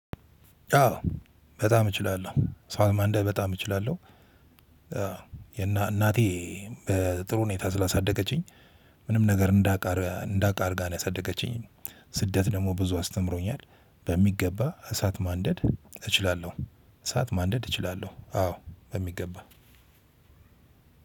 አዎ በጣም እችላለሁ ሳት ማንደድ በጣም እችላለሁ። እናቴ በጥሩ ሁኔታ ስላሳደገችኝ ምንም ነገር እንዳውቃ እንዳውቅ አድርጋ ነው ያሳደገችኝ። ስደት ደግሞ ብዙ አስተምሮኛል በሚገባ እሳት ማንደድ እችላለሁ። እሳት ማንደድ እችላለሁ አዎ በሚገባ